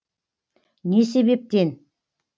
не себептен